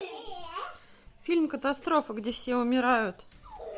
фильм катастрофа где все умирают